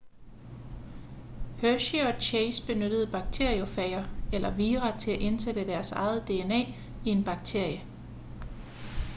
hershey og chase benyttede bakteriofager eller vira til at indsætte deres eget dna i en bakterie